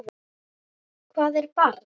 Hvað er barn?